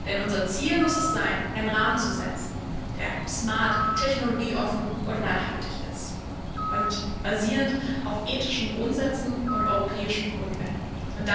Denn unser Ziel muss es sein, einen Rahmen zu setzen, der smart, technologieoffen und nachhaltig ist und auf ethischen Grundsätzen und europäischen Grundwerten basiert.